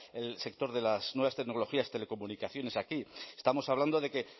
el sector de las nuevas tecnologías telecomunicaciones aquí estamos hablando de que